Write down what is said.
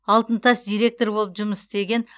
алтын тас директоры болып жұмыс істеген